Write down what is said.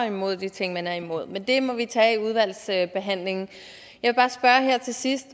imod de ting man er imod men det må vi tage i udvalgsbehandlingen her til sidst